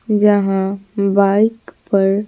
जहां बाइक पर--